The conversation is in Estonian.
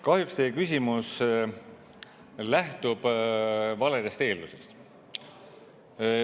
Kahjuks teie küsimus lähtub valedest eeldustest.